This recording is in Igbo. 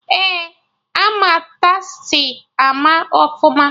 Ee, ama Tastee ama ọfụma